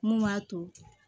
Mun b'a to